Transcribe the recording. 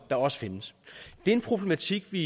der også findes det er en problematik vi